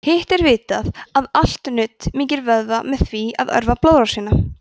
hitt er vitað að allt nudd mýkir vöðva með því að örva blóðrásina